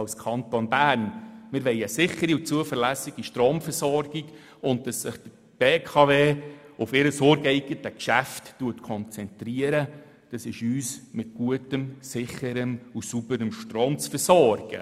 Wir wollen eine sichere und zuverläs sige Stromversorgung und dass sich die BKW auf ihr ureigenes Geschäft konzentriert, nämlich uns mit gutem, sicherem und sauberem Strom zu versorgen;